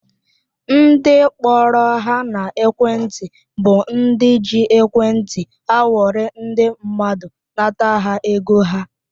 Ndị kpọrọ ha n'ekwenti bụ ndị ji ekwenti akwọrị ndị mmadụ nata ha ego ha